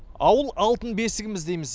ауыл алтын бесігіміз дейміз